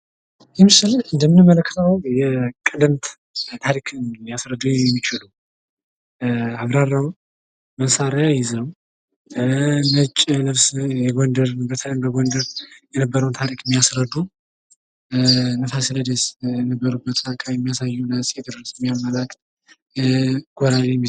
ይህ ምስል እንደሚያመለክተው የቀደምት ታፊክን ሊያስረዳ የሚችል አብራራው መሳርያ ይዘው ነጭ ልብስ በተለይም በጎንደር የነበረውን ታሪክ የሚያስረዱ እነፋሲለደስ የነበሩበትን አካባቢ የሚያሳይ እነ አፄ ቴዎድሮስን የሚያመላክት